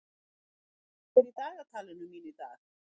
Hárekur, hvað er í dagatalinu mínu í dag?